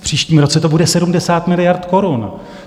V příštím roce to bude 70 miliard korun.